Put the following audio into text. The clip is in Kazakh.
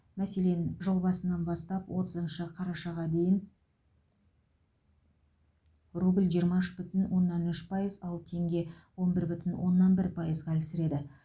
мәселен жыл басынан бастап отызыншы қарашаға дейін рубль жиырма үш бүтін оннан үш пайыз ал теңге он бір бүтін оннан бір пайыз ғана әлсіреді